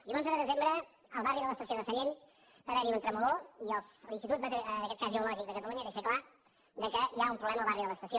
i l’onze de desembre al barri de l’estació de sallent va haver hi un tremolor i l’institut en aquest cas geològic de catalunya deixa clar que hi ha un problema al barri de l’estació